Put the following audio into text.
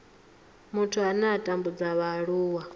muthu ane a tambudza vhaaluwa